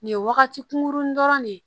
Nin ye wagati kunkurunin dɔrɔn de ye